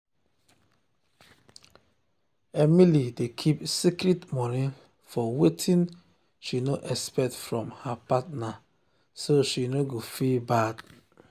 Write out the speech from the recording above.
emily dey keep secret money for wetin she no expect from her partner so she no go feel bad.